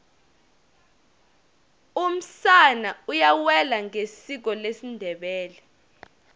umsana uyawela ngesiko lesindebele